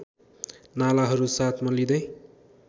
नालाहरू साथमा लिँदै